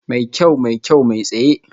Mai kyau, mai kyau, mai tsaye